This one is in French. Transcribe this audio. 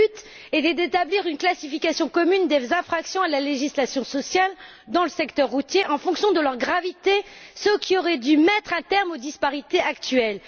Le but était d'établir une classification commune des infractions à la législation sociale dans le secteur routier en fonction de leur gravité, ce qui aurait dû mettre un terme aux disparités actuelles.